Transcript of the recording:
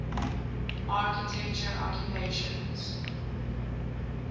architecture occupations